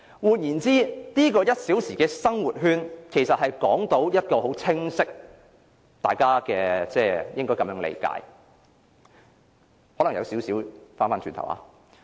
換言之，大家應理解這個1小時生活圈為一個很清晰的方向......我可能有少許重複。